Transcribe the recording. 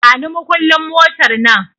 Bani makullin motar nan